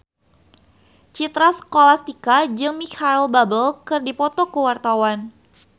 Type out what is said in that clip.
Citra Scholastika jeung Micheal Bubble keur dipoto ku wartawan